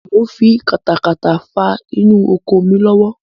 Mo n fi katakata faa inú oko mi lọ́wọ́